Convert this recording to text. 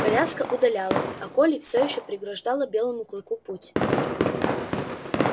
коляска удалялась а колли всё ещё преграждала белому клыку путь